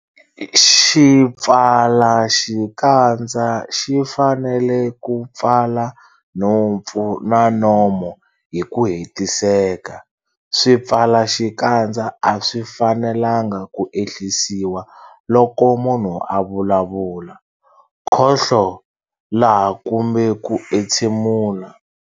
Xipfalaxikandza xi fanele ku pfala nhompfu na nomo hi ku hetiseka. Swipfalaxikandza a swi fanelanga ku ehlisiwa loko munhu a vulavula, khohlola kumbe ku entshemula.